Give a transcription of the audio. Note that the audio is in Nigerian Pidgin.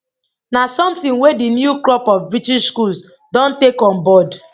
na sometin wey di new crop of british schools don take on board